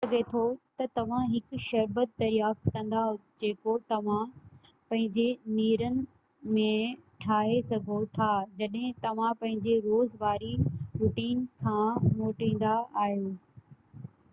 ٿي سگهي ٿو تہ توهان هڪ شربت دريافت ڪندا جيڪو توهان پنهنجي نيرن ۾ ٺاهي سگهو ٿا جڏهن توهان پنهنجي روز واري روٽين کان موٽيندا آهيو